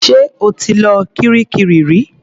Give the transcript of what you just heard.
Ṣé o ti lọ kiríkirì rí?